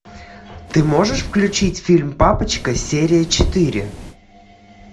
ты можешь включить фильм папочка серия четыре